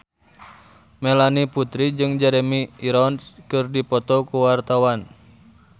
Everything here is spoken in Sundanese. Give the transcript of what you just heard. Melanie Putri jeung Jeremy Irons keur dipoto ku wartawan